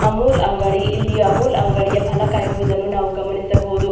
ಅಮುಲ್ ಅಂಗಡಿ ಇಲ್ಲಿ ಅಮುಲ್ ಅಂಗಡಿಯ ಫಲಕ ಇರುವುದನ್ನು ನಾವು ಗಮನಿಸಬಹುದು.